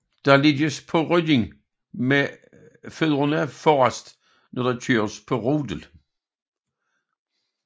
Der ligges på ryggen med fødderne forrest når der køres på rodel